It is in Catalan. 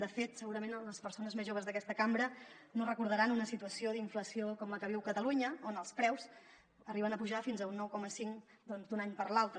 de fet segurament les persones més joves d’aquesta cambra no deuran recordar una situació d’inflació com la que viu catalunya on els preus arriben a pujar fins a un nou coma cinc d’un any per l’altre